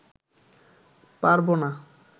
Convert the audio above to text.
পারবো না